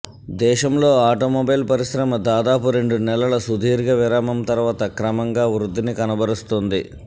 దేశంలో ఆటోమొబైల్ పరిశ్రమ దాదాపు రెండు నెలల సుదీర్ఘ విరామం తర్వాత క్రమంగా వృద్ధిని కనబరుస్తోంది